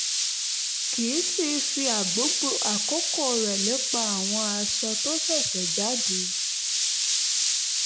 kì í sì í fi gbogbo àkókò rẹ̀ lépa àwọn aṣọ tó ṣẹ̀ṣẹ̀ jáde